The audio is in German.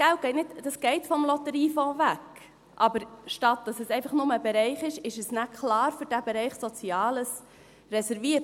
Dieses Geld geht vom Lotteriefonds weg, es ist aber – anstatt dass es einfach nur für einen Bereich ist – nachher klar für diesen Bereich Soziales reserviert.